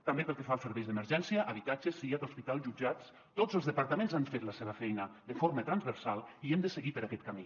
també pel que fa als serveis d’emergència habitatges siad hospitals jutjats tots els departaments han fet la seva feina de forma transversal i hem de seguir per aquest camí